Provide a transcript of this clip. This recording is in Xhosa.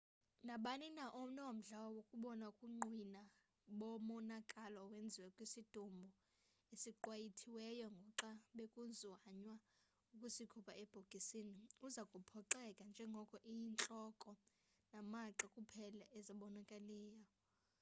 nabani na onomdla wokubona ubungqina bomonakalo owenziwe kwisidumbu esiqwayitiweyo ngoxa bekuzanywa ukusikhupha ebhokisini uza kuphoxeka njengoko iyintloko namagxa kuphela ezibonakalayo